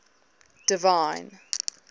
divine